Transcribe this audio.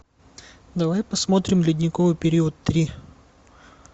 давай посмотрим ледниковый период три